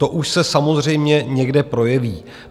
To už se samozřejmě někde projeví.